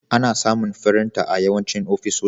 Ana samun firinta a yawancin ofisoshi.